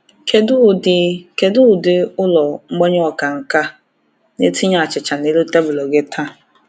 Kedu ụdị Kedu ụdị ụlọ mgbanye ọka nke na-etinye achịcha n’elu tebụl gị taa?